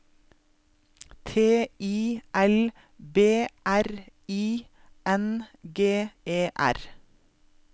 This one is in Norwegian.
T I L B R I N G E R